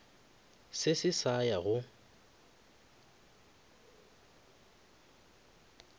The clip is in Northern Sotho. se se sa ya go